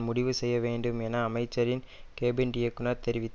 முடிவு செய்ய வேண்டும் என்று அமைச்சரின் கேபின்ட் இயக்குநர் தெரிவித்தார்